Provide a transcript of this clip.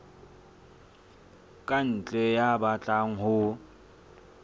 ka ntle ya batlang ho